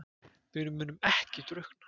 Við munum ekki drukkna